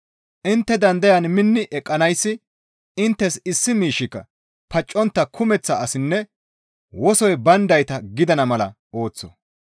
Intte dandayan minni eqqanayssi inttes issi miishshika paccontta kumeththa asinne wosoy bayndayta gidana mala ooththo.